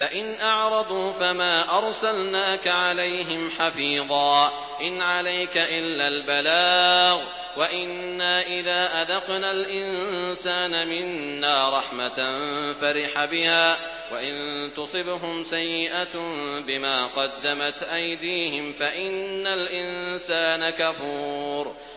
فَإِنْ أَعْرَضُوا فَمَا أَرْسَلْنَاكَ عَلَيْهِمْ حَفِيظًا ۖ إِنْ عَلَيْكَ إِلَّا الْبَلَاغُ ۗ وَإِنَّا إِذَا أَذَقْنَا الْإِنسَانَ مِنَّا رَحْمَةً فَرِحَ بِهَا ۖ وَإِن تُصِبْهُمْ سَيِّئَةٌ بِمَا قَدَّمَتْ أَيْدِيهِمْ فَإِنَّ الْإِنسَانَ كَفُورٌ